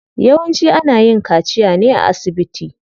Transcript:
Yawanci ana yin kaciya ne a asibiti.